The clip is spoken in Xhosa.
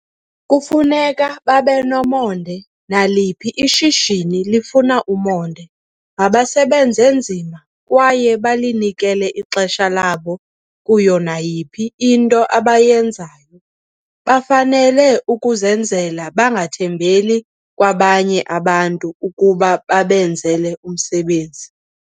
Kufuneka babe nomonde, naliphi ishishini lifuna umonde. Mabasebenze nzima kwaye balinikele ixesha labo kuyo nayiphi into abayenzayo. Bafanele ukuzenzela bangathembeli kwabanye abantu ukuba babenzele umsebenzi.